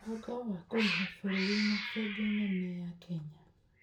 Mũbango wa Kũrĩha wa Bũrũri | Bengi nene ya Kenya: